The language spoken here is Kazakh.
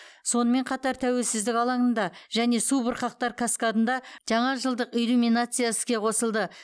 сонымен қатар тәуелсіздік алаңында және субұрқақтар каскадында жаңа жылдық иллюминация іске қосылды